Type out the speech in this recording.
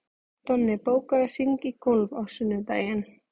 Donni, bókaðu hring í golf á sunnudaginn.